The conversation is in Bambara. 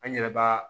An yɛrɛ b'a